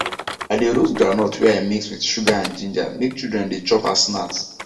i de roast groundnut wey i mix with sugar and ginger make children de chop as snacks